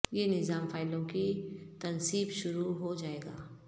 یہ نظام فائلوں کی تنصیب شروع ہو جائے گا